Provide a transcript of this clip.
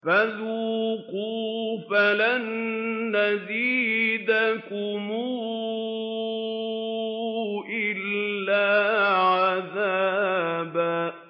فَذُوقُوا فَلَن نَّزِيدَكُمْ إِلَّا عَذَابًا